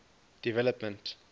development